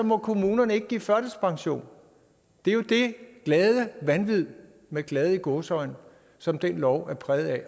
må kommunerne ikke give førtidspension det er jo det glade vanvid med glade i gåseøjne som den lov er præget af